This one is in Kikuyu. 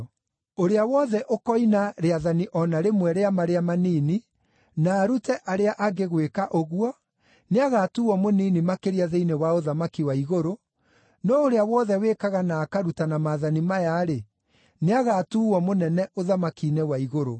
Ũrĩa wothe ũkoina rĩathani o na rĩmwe rĩa marĩa manini, na arute arĩa angĩ gwĩka ũguo, nĩagatuuo mũnini makĩria thĩinĩ wa ũthamaki wa igũrũ, no ũrĩa wothe wĩkaga na akarutana maathani maya-rĩ, nĩagatuuo mũnene ũthamaki-inĩ wa igũrũ.